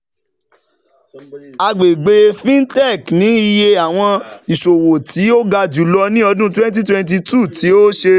Agbegbe Fintech ni iye awọn iṣowo ti o ga julọ ni ọdun twenty twenty two, ti o ṣe